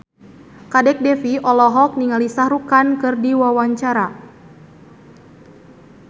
Kadek Devi olohok ningali Shah Rukh Khan keur diwawancara